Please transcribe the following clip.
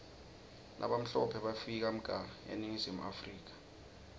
labamhlope bafika mga eningizimu africa